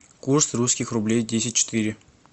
курс русских рублей десять четыре